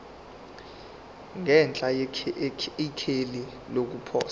ngenhla ikheli lokuposa